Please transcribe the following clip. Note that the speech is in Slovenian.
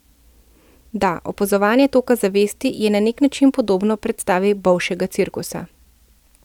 Da, opazovanje toka zavesti je na neki način podobno predstavi bolšjega cirkusa.